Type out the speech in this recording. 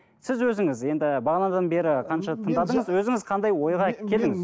сіз өзіңіз енді бағанадан бері